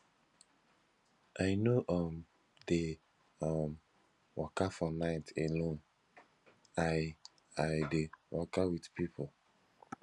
i no um dey um waka for night alone i i dey waka wit pipo